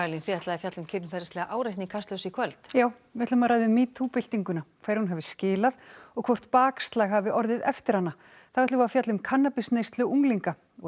þið ætlið að fjalla um kynferðislega áreitni í Kastljósi í kvöld já við ætlum að ræða um metoo byltinguna hverju hún hafi skilað og hvort bakslag hafi orðið eftir hana þá ætlum við að fjalla um kannabisneyslu unglinga og